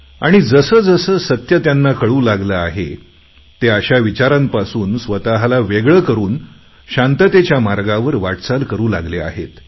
आणि जसे जसे सत्य त्यांना कळू लागले आहे ते अशा विचारांपासून स्वतःला वेगळे करून शांततेच्या मार्गावर वाटचाल करू लागले आहेत